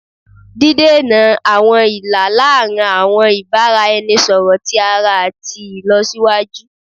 didena awọn ila laarin awọn ibaraẹnisọrọ ti ara ati ilọsiwaju